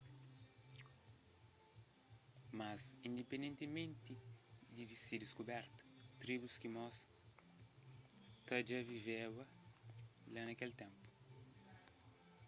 mas indipendentimenti di se diskuberta tribus skimôs ta dja viveba la na kel ténpu